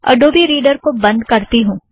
Adobe Reader को बंध करती हूँ